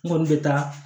N kɔni bɛ taa